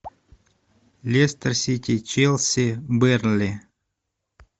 лестер сити челси бернли